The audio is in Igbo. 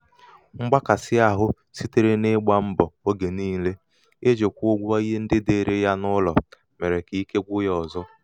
mgbakàsịahụ sitere n’ịgbā mbọ̀ ogè niilē ijī kwụọ ụgwọ ihe ndị dịìrị ya n’ụlọ dịìrị ya n’ụlọ mèrè kà ike gwụ̄ ya ọ̀zọ.